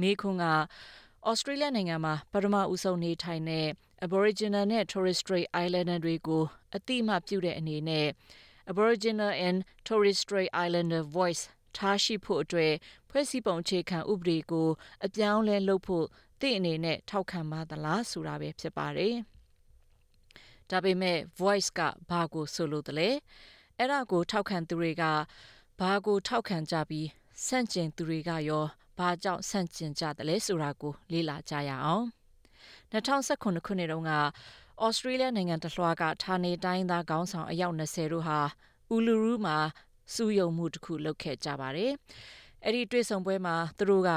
မေးခွန်းက ဩစတြေးလျနိုင်ငံမှာ ပထမဦးဆုံး နေထိုင်သည့် Aboriginal နှင့် Torres Strait Islander များကို အသိအမှတ်ပြုသည့်အနေဖြင့် Aboriginal နှင့် Torres Strait Islander Voice ထားရှိရန်အတွက် ဖွဲ့စည်းပုံ အခြေခံ ဥပဒေအား အပြောင်းအလဲ လုပ်ရန် သင့်အနေဖြင့် ထောက်ခံပါသလား။ Do you support a change to the constitution to recognise the first peoples of Australia by establishing an Aboriginal and Torres Strait Islander Voice? ဆိုတာပဲ ဖြစ်ပါတယ်။ ဒါပေမဲ့ Voice က ဘာကို ဆိုလိုသလဲ၊ အဲဒါကို ထောက်ခံသူတွေက ဘာကို ထောက်ခံပြီး ဆန့်ကျင်သူတွေက ဘာကို ဆန့်ကျင်ကြသလဲ ဆိုတာကို လေ့လာရအောင်။ ၂၀၁၇ ခုနှစ်တုန်းက ဩစတြေးလျနိုင်ငံတလွှားက ဌာနေတိုင်းရင်းသား ခေါင်းဆောင် အယောက် ၁၂၀ တို့ဟာ Uluru အူလူယူးမှာ စုရုံးမှု လုပ်ခဲ့ကြပါတယ်။ အဲဒီ တွေ့ဆုံပွဲမှာ သူတို့က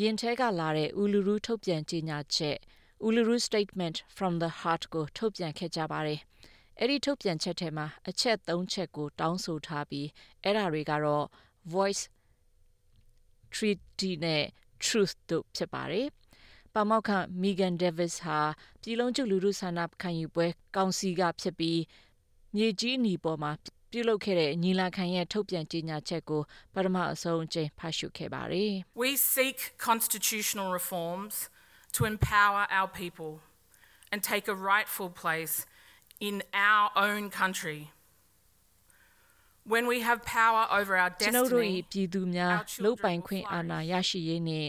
ရင်ထဲက လာတဲ့ အူလူယူး ထုတ်ပြန်ကြေညာချက် Uluru Statement from the Heart ကို ထုတ်ပြန်ခဲ့ကြပါတယ်။ အဲဒီ ထုတ်ပြန်ချက်ထဲမှာ အချက် ၃ ချက်ကို တောင်းဆိုထားပြီး အဲဒါတွေကတော့ Voice, Treaty နဲ့ Truth တို့ ဖြစ်ကြပါတယ်။ အဲဒီအချက်ကို အကောင်အထည်ဖော်ဖို့ ၆ နှစ်ကြာမြင့်ခဲ့ပြီး ဒီနှစ်ထဲမှာ ဖွဲ့စည်းပုံ အခြေခံဥ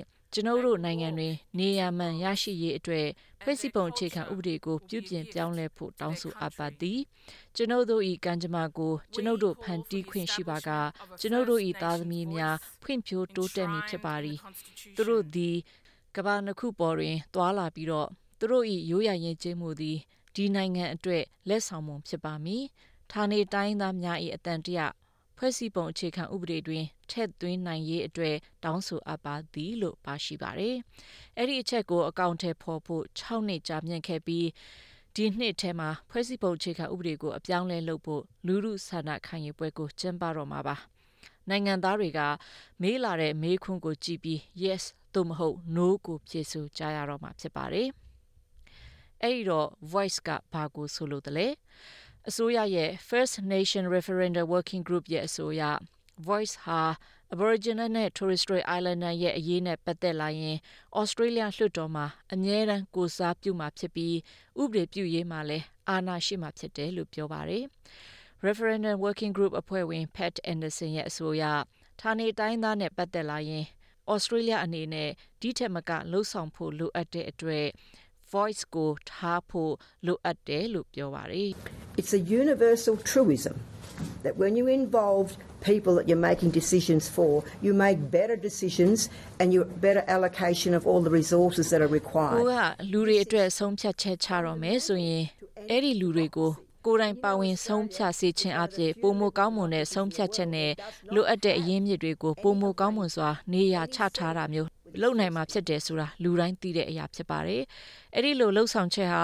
ပဒေကို အပြောင်းအလဲ လုပ်ဖို့ လူထုဆန္ဒခံယူပွဲ ကျင်းပမှာဖြစ်ပါတယ်။ နိုင်ငံသားများက မေးလာသည့် မေးခွန်းကိုကြည့်ပြီး YES သို့မဟုတ် NO ကို ဖြေဆိုရမှာ ဖြစ်ပါတယ်။ အဲဒီတော့ Voice ဆိုတာဘာလဲ? အစိုးရရဲ့ First Nations Referendum Working Group ရဲ့ အဆိုအရ Voice ဟာ Aboriginal နဲ့ Torres Strait Islander ရဲ့ အရေးနဲ့ ပတ်သက်လာရင် ဩစတြေးလျ လွှတ်တော်မှာ အမြဲတမ်း ကိုယ်စားပြုမှာဖြစ်ပြီး ဥပဒေပြုရေးမှာလည်း အာဏာရှိမှာ ဖြစ်တယ်လို့ ပြောပါတယ်။ Referendum Working Group အဖွဲ့ဝင် Pat Anderson ရဲ့ အဆိုအရ ဌာနေတိုင်းရင်းသားနဲ့ ပတ်သက်လာရင် ဩစတြေးလျ အနေနဲ့ ဒီထက်မက လုပ်ဆောင်ဖို့ လိုအပ်တဲ့အတွက် Voice ကို ထားဖို့ လိုအပ်တယ်လို့ ပြောပါတယ်။ ကိုယ်က လူတွေအတွက် ဆုံးဖြတ်ချက် ချတော့မယ်ဆိုရင် အဲဒီလူတွေကို ကိုယ်တိုင် ပါဝင်ဆုံးဖြတ်ပါဝင်စေခြင်းအားဖြင့် ပိုမိုကောင်းမွန်တဲ့ ဆုံးဖြတ်ချက်နဲ့ လိုအပ်တဲ့ အရင်းအမြစ်တွေကို ပိုမိုကောင်းမွန်စွာ နေရာချထားတာမျိုးတွေ လုပ်နိုင်မှာ ဖြစ်တယ်ဆိုတာ လူတိုင်းသိတဲ့အရာ ဖြစ်ပါတယ်။ ဒီလို လုပ်ဆောင်ချက်ဟာ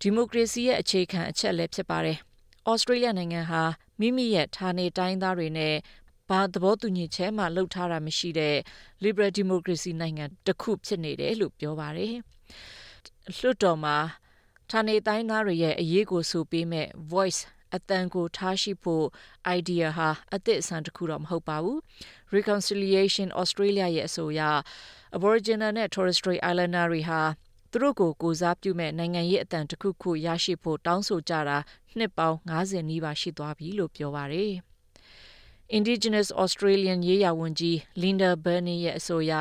ဒီမိုကရေစီရဲ့ အခြေခံ အချက်လည်း ဖြစ်ပါတယ်။ ဩစတြေးလျနိုင်ငံဟာ မိမိရဲ့ ဌာနေတိုင်းရင်းသားတွေနဲ့ ဘာသဘောတူညီချက်၊ ဘာမှမလုပ်ထားတဲ့ လစ်ဘရယ် ဒီမိုကရေစီနိုင်ငံ တစ်ခုတည်း ပါဝင်နေဆဲပဲလို့ ပြောပါတယ်။ လွှတ်တော်မှာ အရေးဆိုပေးမယ့် အသံ Voice ကို ထားရှိဖို့ အိုင်ဒီယာဟာ အသစ်အဆန်း တစ်ခု မဟုတ်ပါဘူး။ Reconciliation Australia ရဲ့ အဆိုအရ Aboriginal နဲ့ Torres Strait Islanders တွေဟာ သူတို့ကို ကိုယ်စားပြုမယ့် နိုင်ငံရေးအသံ တစ်ခုခုကို ရရှိဖို့ တောင်းဆိုကြတာ နှစ်ပေါင်း ၅၀ နီးပါး ရှိသွားပြီလို့ ပြောပါတယ်။ Indigenous Australians ရေးရာဝန်ကြီး Linda Burney ရဲ့ အဆိုအရ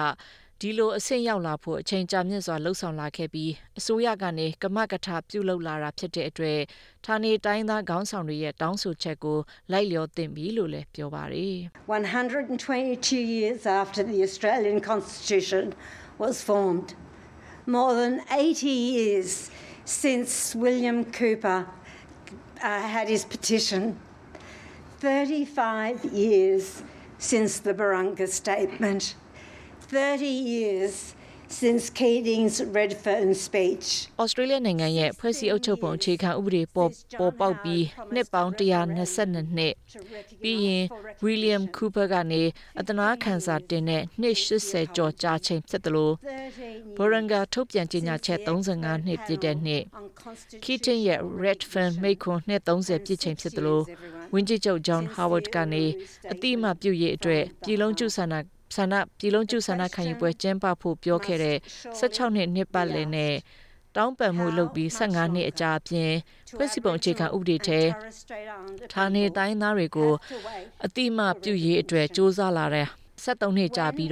ဒီလို အဆင့်ရောက်ရှိလာဖို့ အချိန်ကြာမြင့်စွာ လုပ်ဆောင်လာခဲ့ပြီး အစိုးရကနေ ကမကထ ပြုလာတာဖြစ်တဲ့အတွက် ဌာနေတိုင်းရင်းသား ခေါင်းဆောင်တွေရဲ့ တောင်းဆိုချက်ကို လိုက်လျောသင့်ပြီလို့ ပြောပါတယ်။ ဩစတြေးလျနိုင်ငံရဲ့ ဖွဲ့စည်းအုပ်ချုပ်ပုံ အခြေခံ ဥပဒေပေါ်ပေါက်ပြီး နှစ်ပေါင်း ၁၂၂ နှစ်၊ ပြီးရင် ဝီလျံ ကူးပါကနေ အသနားခံစာတင်တဲ့ နှစ် ၈၀ ကျော်အချိန်ဖြစ်သလို Burunga ထုတ်ပြန်ကြေညာချက် ၃၅ နှစ်ပြည့်တဲ့နှစ်၊ Keating ရဲ့ Redfern မိန့်ခွန်း နှစ် ၃၀ ပြည့်ချိန်ဖြစ်သလို ဝန်ကြီးချုပ် ဂျွန်ဟောင်းဝဒ်ကနေ အသိအမှတ်ပြုရေးအတွက် ပြည်လုံးကျွတ်ဆန္ဒခံယူပွဲ ကျင်းပဖို့ ပြောခဲ့တဲ့ ၁၆ နှစ် နှစ်ပတ်လည်နဲ့ တောင်းပန်မှုလုပ်ပြီး ၁၅ နှစ်အကြာအပြင် ဖွဲ့စည်းပုံ အခြေခံ ဥပဒေထဲ ဌာနေတိုင်းရင်းသားတွေကို အသိအမှတ်ပြုရေးအတွက် ကြိုးစားလာတာ ၁၃ နှစ်ကြာပြီး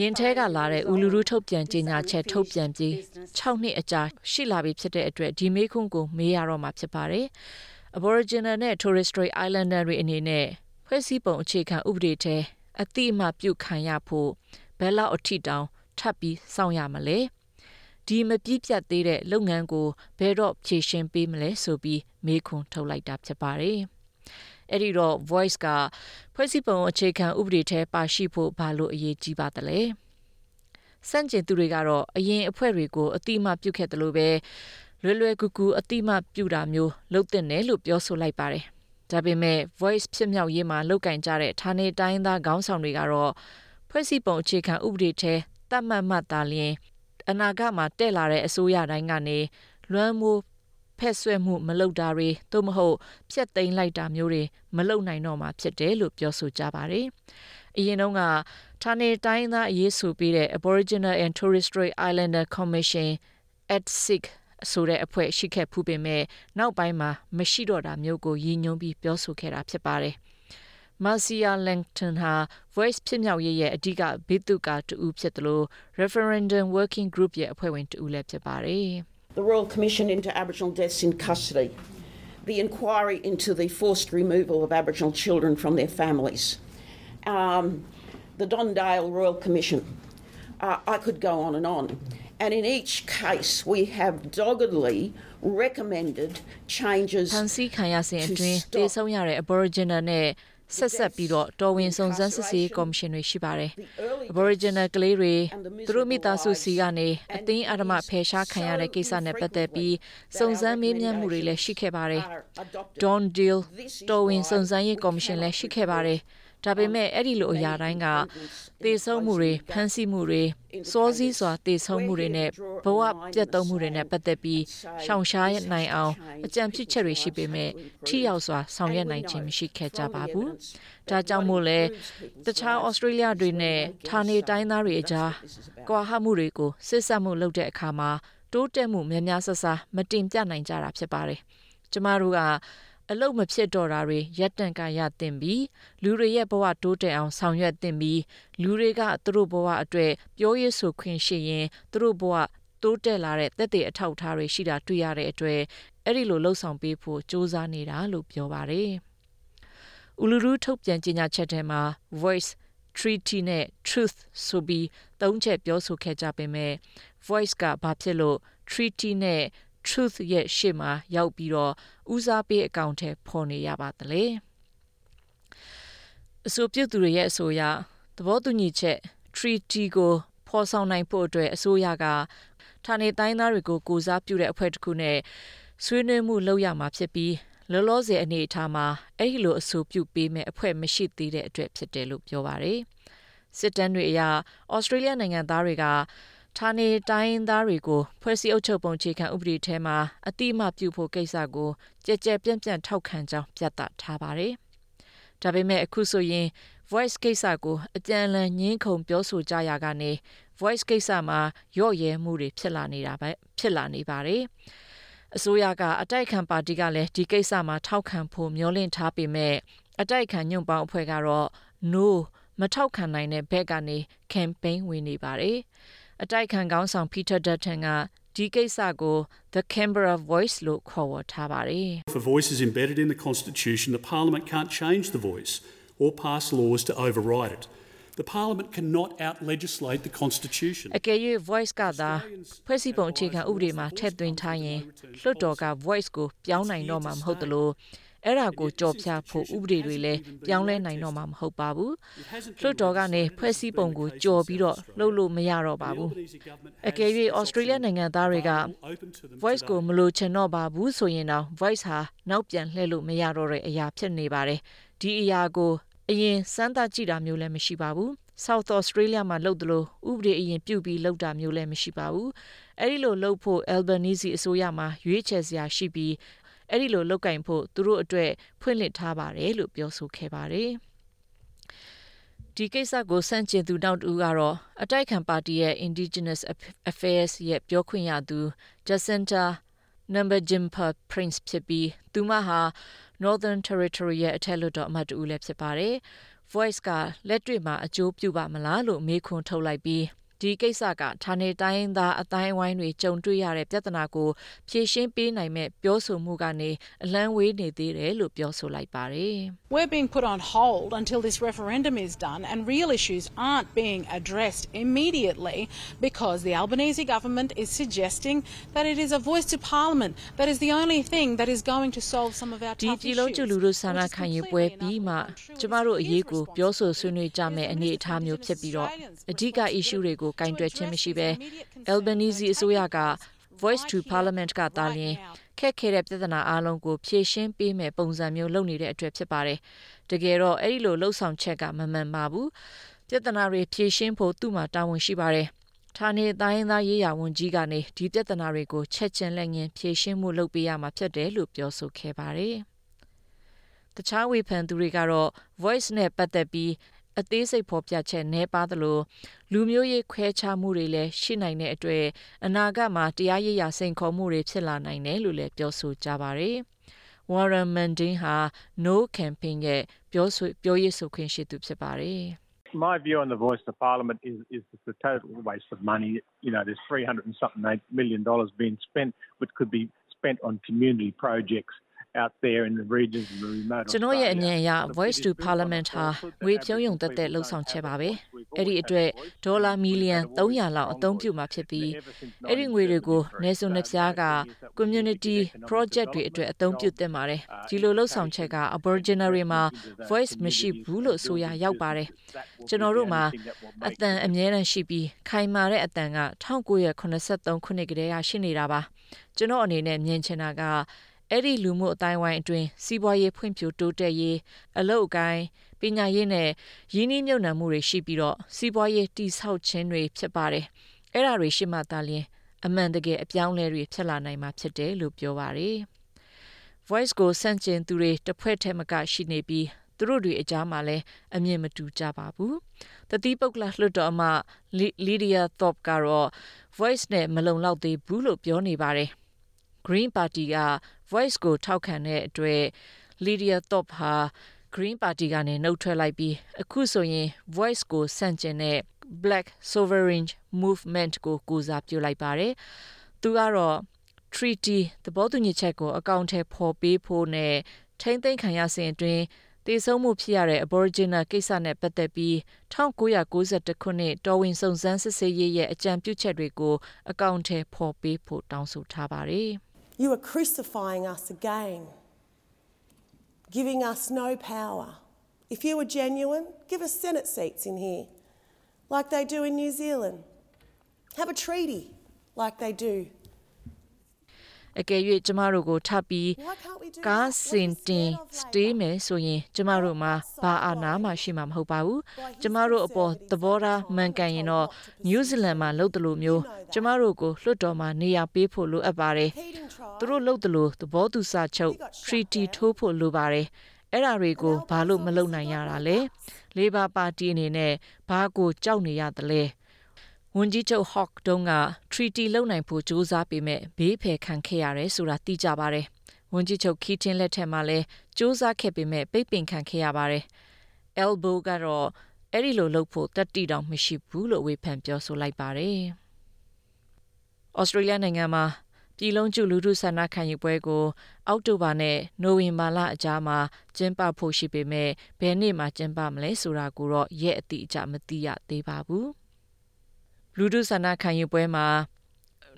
ရင်ထဲက လာတဲ့ အူလူယူးထုတ်ပြန်ကြေညာချက် ထုတ်ပြန်ပြီး ၆ နှစ်အကြာရှိလာတဲ့အချိန်အထိ မေးခွန်းကို မေးရမှာ ဖြစ်ပါတယ်။ Aboriginal နဲ့ Torres Strait Islander တွေအနေနဲ့ ဖွဲ့စည်းအုပ်ချုပ်ပုံ အခြေခံ ဥပဒေထဲ အသိအမှတ် ပြုခံရဖို့ ဘယ်လောက်တောင် ထပ်စောင့်ရမလဲ၊ ဒီမပြီးပြတ်သေးတဲ့ လုပ်ငန်းကို ဘယ်တော့ ဖြေရှင်းပေးမလဲ ဆိုပြီး မေးခွန်းထုတ်လိုက်ပါတယ်။ အဲဒီတော့ Voice က ဖွဲ့စည်းအုပ်ချုပ်ပုံ အခြေခံ ဥပဒေထဲ ပါရှိဖို့ ဘာလို့ အရေးကြီးသလဲ။ ဆန့်ကျင်သူတွေကတော့ အရင်အဖွဲ့တွေကို အသိအမှတ်ပြုခဲ့သလိုပဲ လွယ်လွယ်ကူကူ အသိအမှတ်ပြုတာမျိုး လုပ်သင့်တယ်လို့ ပြောပါတယ်။ ဒါပေမဲ့ Voice ဖြစ်မြောက်ရေးမှာ လုပ်ကိုင်ကြတဲ့ ဌာနေတိုင်းရင်းသား ခေါင်းဆောင်တွေကတော့ ဖွဲ့စည်းပုံ အခြေခံ ဥပဒေထဲ သတ်မှတ်မှသာလျင် အနာဂတ်မှာ အစိုးရတွေကနေ လွှမ်းမိုးဖက်စွက်မှုမလုပ်တာတွေ သို့မဟုတ် ဖျက်သိမ်းလိုက်တာမျိုးတွေ မလုပ်မှာ ဖြစ်တယ်လို့ ပြောပါတယ်။ အရင်တုန်းက ဌာနေတိုင်းရင်းသား အရေးဆိုပေးတဲ့ Aboriginal and Torres Strait Islander Commission ( ATSIC) အဖွဲ့ ရှိဖူးပေမယ့် နောက်ပိုင်းမှာ မရှိတော့တာမျိုးကို ရည်ရွယ်ပြောဆိုခဲ့တာ ဖြစ်ပါတယ်။ Marcia Langton ဟာ Voice ဖြစ်မြောက်ရေးရဲ့ အဓိက ဗိသုကာ တစ်ဦးဖြစ်သလို Referendum Working Group ရဲ့ အဖွဲ့ဝင် တစ်ဦးလည်း ဖြစ်ပါတယ်။ ဖမ်းဆီးခံရစဥ်အတွင်း သေဆုံးရတဲ့ အာဘော်ရီဂျင်နာနဲ့ ဆက်စပ်ပြီး တော်ဝင်စုံစမ်းရေး ကော်မရှင်တွေ ရှိပါတယ်။ အာဘော်ရီဂျင်နယ် ကလေးငယ်တွေ သူတို့ မိသားစုဆီကနေ အတင်းအဓ္ဓမ ဖယ်ရှားခံရတဲ့ ကိစ္စနဲ့ ပတ်သက်ပြီး စုံစမ်းမေးမြန်းမှုတွေလည်း ရှိခဲ့ပါတယ်။ Don Dale တော်ဝင် စုံစမ်းရေး ကော်မရှင်လည်း ရှိခဲ့ပါတယ်။ အဲလို အရာတွေ မပြီးနိုင် မဆုံးနိုင်အောင်ကို ပြောနိုင်ပါတယ်။ ဒါပေမဲ့ အဲလို အရာတိုင်းက သေဆုံးမှုတွေ၊ ဖမ်းဆီးမှုတွေ၊ စောစီးသေဆုံးမှုတွေနဲ့ ဘဝပျက်သုံးမှုတွေနဲ့ ပတ်သက်ပြီး အကြံပြုချက်တွေရှိပေမယ့် ထိရောက်စွာ ဆောင်ရွက်နိုင်ခြင်းမရှိခဲ့ကြပါဘူး။ ဒါကြောင့်မို့လည်း တခြားဩစတြေးလျတွေနဲ့ ဌာနေတိုင်းရင်းသားတွေအကြား ကွာဟမှုတွေကို စေ့စပ်မှုလုပ်တဲ့အခါမှာ တိုးတက်မှု များများစားစား မတင်ပြနိုင်တာ ဖြစ်ပါတယ်။ ကျမတို့က အလုပ်မဖြစ်တော့တာတွေ ရပ်တန့်ကရပ်သင့်ပြီ လူတွေရဲ့ ဘဝ တိုးတက်အောင် ဆောင်ရွက်သင့်ပြီ၊ လူတွေက သူတို့ ဘဝအတွက် ပြောရေးဆိုခွင့်ရှိရင် ဘဝတိုးတက်တဲ့ သက်သေအထောက်အထားတွေရှိတာတွေ့ရတဲ့အတွက် အဲဒီလို လုပ်ဖို့ ကြိုးစားတာလို့ ပြောပါတယ်။ အူလူယူး ထုတ်ပြန်ကြေညာချက်ထဲမှာ Voice, Treaty နဲ့ Truth ဆိုပြီး ၃ ချက် ပြောဆိုခဲ့ကြပေမယ့် Voice က ဘာဖြစ်လို့ Treaty နဲ့ Truth ရှေ့မှာ ရောက်ပြီး ဦးစားပေး အကောင်အထည်ဖော်နေရပါသလဲ။ အဆိုပြုသူတွေရဲ့ အဆိုအရ သဘောတူညီချက် treaty ကို ဖော်ဆောင်နိုင်ဖို့အတွက် အစိုးရက ကိုယ်စားပြု အဖွဲ့တစ်ခုနဲ့ ဆွေးနွေးမှု လုပ်ရမှာဖြစ်ပြီး လောလောဆယ် အနေအထားမှာ အဲဒီလို အဆိုပြုပေးမယ့် အဖွဲ့မရှိသေးတဲ့အတွက် ဖြစ်ပါတယ်။ စစ်တမ်းတွေအရ ဩစတြေးလျနိုင်ငံသားတွေက ဌာနေတိုင်းရင်းသားတွေကို ဖွဲ့စည်းအုပ်ချုပ်ပုံ အခြေခံ ဥပဒေထဲ အသိအမှတ်ပြုဖို့ ကိစ္စကို ကျယ်ကျယ်ပြန့်ပြန့် ထောက်ခံကြောင်း ပြသထားပါတယ်။ ဒါပေမဲ့ အခုဆိုရင် Voice ကိစ္စကို အပြန်အလှန် ငြင်းခုန် ပြောဆိုကြရာက Voice ကိစ္စမှာ လျှော့ရဲမှုတွေ ဖြစ်လာနေပါတယ်။ အစိုးရက အတိုက်အခံပါတီကလည်း ထောက်ခံဖို့ မျှော်လင့်ထားပေမယ့် အတိုက်အခံ ညွန့်ပေါင်းအဖွဲ့ကတော့ No မထောက်ခံနိုင်တဲ့ဖက်ကနေ ကမ်ပိန်းဝင်နေပါတယ်။ အတိုက်အခံခေါင်းဆောင် Peter Dutton က ဒီကိစ္စကို "the Canberra Voice" လို့ ခေါ်ဝေါ်ထားပါတယ်။ အကယ်၍ Voice ကသာ ဖွဲ့စည်းပုံ အခြေခံ ဥပဒေမှာ ထည့်သွင်းထားရင် လွှတ်တော်က Voice ကို ပြောင်းနိုင်မှာ မဟုတ်သလို အဲဒါကို ကျော်ဖြတ်ဖို့ ဥပဒေတွေနဲ့လည်း ပြောင်းလဲနိုင်မှာ မဟုတ်ပါဘူး။ လွှတ်တော်ကနေ ဖွဲ့စည်းပုံကို ကျော်ပြီး လုပ်လို့မရပါဘူး။ အကယ်၍ ဩစတြေးလျနိုင်ငံသားတွေက မလိုချင်တော့ဘူးဆိုရင်တောင် Voice ဟာ နောက်ပြန်လှည့်လို့မရတော့ အရာ ဖြစ်ပါတယ်။ ဒီအရာကို အရင် စမ်းသပ်ကြည့်တာမျိုးလည်း မရှိပါဘူး။ South Australia မှာ လုပ်သလို ဥပဒေအရင်ပြုပြီး လုပ်တာမျိုးလည်း မရှိပါဘူး။ အဲလို လုပ်ဖို့ အယ်လ်ဘာနီဇီ အစိုးရမှာ ရွေးချယ်စရာရှိပြီး အဲလို လုပ်ဖို့ သူတို့အတွက် ဖွင့်လှစ်ထားပါတယ်လို့ ပြောဆိုခဲ့ပါတယ်။ ဒီကိစ္စကို ဆန့်ကျင်သူ နောက်တစ်ဦးကတော့ အတိုက်အခံပါတီရဲ့ Indigenous Affairs ပြောခွင့်ရသူ Jacinta Nampijinpa Price ဖြစ်ပြီး သူမဟာ Northern Territory ရဲ့ အထက်လွှတ်တော် အမတ် တစ်ဦးလည်း ဖြစ်ပါတယ်။ Voice က လက်တွေ့မှာ အကျိုးပြုပါ့မလားလို့ မေးခွန်းထုတ်လိုက်ပြီး ဒီကိစ္စက ဌာနေတိုင်းရင်းသား အသိုင်းအဝိုင်းတွေ ကြုံတွေ့ရတဲ့ ပြဿနာကို ဖြေရှင်းပေးနိုင်မယ့် ပြောဆိုမှုကနေ အလှမ်းဝေးစေတယ်လို့ ပြောဆိုလိုက်ပါတယ်။ ဒီပြည်လုံးကျွတ်လူထု ဆန္ဒခံယူပွဲ ပြီးမှ ကျမတို့အရေးကို ပြောဆိုဆွေးနွေးကြမယ့် အနေအထားမျိုးဖြစ်ပြီး အဓိက issues တွေကို ကိုင်တွယ်ခြင်းမရှိပဲ အယ်လ်ဘာနီဇီ အစိုးရက Voice to Parliament ကသာလျင် ခက်ခဲတဲ့ ပြဿနာအားလုံးကို ဖြေရှင်းပေးမယ့် ပုံစံမျိုး လုပ်နေတဲ့အတွက် ဖြစ်ပါတယ်။ တကယ်တော့ အဲလိုလုပ်ဆောင်ချက်က မမှန်ပါဘူး။ ပြဿနာတွေ ဖြေရှင်းဖို့ သူ့မှာ တာဝန်ရှိပါတယ်။ ဌာနေတိုင်းရင်းသား ရေးရာ ဝန်ကြီးကနေ ဒီပြဿနာတွေကို ချက်ခြင်း လက်ငြင်း ဖြေရှင်မှု လုပ်ပေးရမှာ ဖြစ်တယ်လို့ ပြောဆိုခဲ့ပါတယ်။ တခြား ဝေဖန်သူတွေကတော့ Voice နဲ့ ပတ်သက်ပြီး အသေးစိတ် ဖော်ပြခြင်း နည်းပါးသလို လူမျိုးရေး ခွဲခြားမှုတွေလည်းရှိလို အနာဂတ်မှာ တရားရေးရာ စိန်ခေါ်မှုတွေ ဖြစ်လာနိုင်တယ်လို့လည်း ပြောဆိုကြပါတယ်။ Warren Mundine ဟာ "no" campaign ရဲ့ ပြောရေးဆိုခွင့် ရှိသူ ဖြစ်ပါတယ်။ ကျနော့်ရဲ့ အမြင်အရ Voice to Parliament ဟာ ငွေဖြုန်းရုံသက်သက် လုပ်ဆောင်ချက်ပါပဲ၊ ဒီအတွက် ဒေါ်လာ မီလီယံ ၃၀၀ လောက် အသုံးပြုမှာဖြစ်ပြီး အဲဒီငွေတွေကို နယ်စွန်နယ်ဖြားက ကွန်မြူနီတီ ပရောဂျက်တွေအတွက် အသုံးပြုသင့်ပါတယ်။ ဒီလုပ်ဆောင်ချက်က အာဘော်ရီဂျင်နာတွေမှာ Voice မရှိဘူးလို့ ဆိုရာ ရောက်ပါတယ်။ ကျနော်တို့မှာ အသံအမြဲတမ်းရှိပြီး ခိုင်မာတဲ့ အသံက ၁၉၇၃ ခုနှစ်ကတည်းက ရှိနေတာပါ။ ကျနော့်အနေနဲ့မြင်ချင်တာက အဲဒီလူမှုအသိုင်းအဝိုင်းအတွင်း စီးပွားရေး ဖွံ့ဖြိုးတိုးတက်ရေး၊ အလုပ်အကိုင်၊ ပညာရေးနဲ့ ရင်းနှီးမြုပ်နှံမှုတွေ ရှိပြီး စီးပွားရေး တည်ဆောင်ခြင်းတွေဖြစ်ပါတယ်။ အဲဒါတွေ ရှိမှသာလျင် အပြောင်းအလဲ ဖြစ်လာနိုင်မှာ ဖြစ်တယ်လို့ ပြောပါတယ်။ Voice ကို ဆန့်ကျင်သူတွေ တစ်ဖွဲ့ထက်မက ရှိပြီး သူတို့တွေအကြား အမြင်တွေလည်း မတူညီကြပါဘူး။ တသီးပုဂ္ဂလ လွှတ်တော်အမတ် Lidia Thorpe ကတော့ Voice နဲ့ မလုံလောက်သေးဘူးလို့ ပြောပါတယ်။ ဂရင်းပါတီက Voice ကို ထောက်ခံတဲ့အတွက် Lidia Thorpe ဟာ ဂရင်းပါတီကနေ နှုတ်ထွက်လိုက်ပြီး အခုဆိုရင် Voice ကို ဆန့်ကျင်တဲ့ Blak Sovereign Movement ကို ကိုယ်စားပြုလိုက်ပါတယ်။ သူကတော့ Treaty ကို အကောင်အထည်ဖော်ပေးဖို့နဲ့ ထိန်းသိမ်းခံရစဥ်အတွင်း သေဆုံးမှုဖြစ်ရတဲ့ အာဘော်ရီဂျင်နာကိစ္စနဲ့ ပတ်သက်ပြီး ၁၉၉၁ ခုနှစ် တော်ဝင်စုံစမ်းရေးရဲ့ အကြံပြုချက်တွေကို အကောင်အထည် ဖော်ပေးဖို့ တောင်းဆိုထားပါတယ်။ အကယ်၍ ကျမတို့ကို ထပ်ပြီး ကားစင်တင်မယ်ဆိုရင် ကျမတို့မှာ ဘာအာဏာမှ ရှိမှာ မဟုတ်ပါဘူး။ ကျမတို့အပေါ် သဘောထား မှန်ကန်ရင်တော့ နယူးဇီလန်မှာ လုပ်သလိုမျိုးကျမတို့ကို လွှတ်တော်မှာ နေရာပေးဖို့ လိုပါတယ်၊၊ သူတို့ လုပ်သလို သဘောတူစာချုပ် treaty ထိုးဖို့ လိုပါတယ်၊ အဲဒါတွေကို ဘာလို့ မလုပ်နိုင်ရတာလဲ။ လေဘာပါတီအနေနဲ့ ဘာကို ကြောက်နေရတာလဲ။ Hawke တုန်းက treaty လုပ်နိုင်ဖို့ ကြိုးစားပေမယ့် ဘေးဖယ် ခံခဲ့ရတယ်ဆိုတာ သိကြပါတယ်။ Keating လက်ထက်မှာ ကြိုးစားခဲ့ပေမယ့် ပိတ်ပင်ခံခဲ့ရပါတယ်။ အယ်လ်ဘိုကတော့ အဲလို လုပ်ဖို့ သတ္တိတောင် မရှိဘူးလို့ ဝေဖန်လိုက်ပါတယ်။ လူထုဆန္ဒခံယူပွဲကို အောက်တိုဘာလနဲ့ နိုဝင်ဘာလကြားမှာ ကျင်းပမှာဖြစ်ပြီး ဘယ်နေ့လဲ ဆိုတာကိုတော့ အတိအကျ မသိရသေးပါဘူး။ တစ်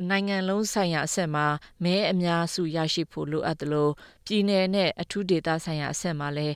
နိုင်ငံလုံးအဆင့်မှာ လူအများစုရဲ့ ထောက်ခံမှုလိုအပ်သလို ပြည်နယ်အဆင့်မှာလည်း